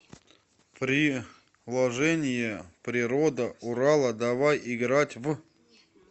приложение природа урала давай играть в